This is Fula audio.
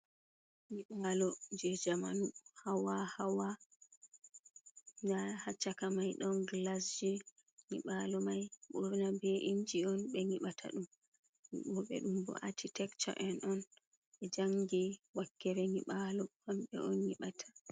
Nyiɓalo je jamanu hawa-hawa. Nda ha caka mai ɗon glasji. Nyibalo mai ɓurna be inji on ɓe nyiɓata ɗum. waɗo ɓe ɗum bo architecture en on ɓe jangi wakkere nyiɓalo kambe on nyiɓata.